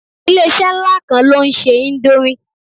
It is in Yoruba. Ilé-isẹ́ nlá kan lóún se indomie